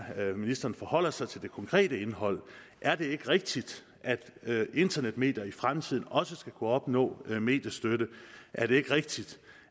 ministeren forholder sig til det konkrete indhold er det ikke rigtigt at internetmedier i fremtiden også skal kunne opnå mediestøtte er det ikke rigtigt